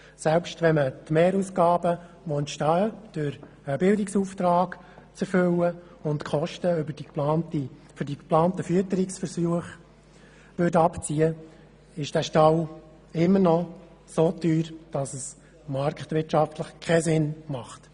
Selbst wenn man die Mehrausgaben, die durch die Erfüllung eines Bildungsauftrags entstehen, und die Kosten über die geplanten Fütterungsversuche in Abzug bringen würde, wäre dieser Stall immer noch so teuer, dass es marktwirtschaftlich keinen Sinn ergibt.